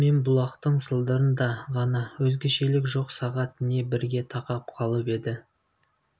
мен бұлақтың сылдырында ғана өзгешелік жоқ сағат не бірге тақап қалып еді